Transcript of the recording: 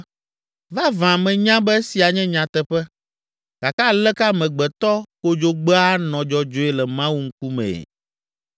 “Vavã menya be esia nye nyateƒe, gake aleke amegbetɔ kodzogbea anɔ dzɔdzɔe le Mawu ŋkumee?